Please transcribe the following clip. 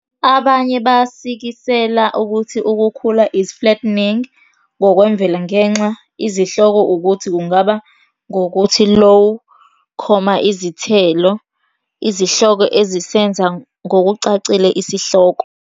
Abanye basikisela ukuthi ukukhula is flattening ngokwemvelo ngenxa izihloko ukuthi kungaba ngokuthi "low-choma izithelo" - izihloko ezisenza ngokucacile isihloko -.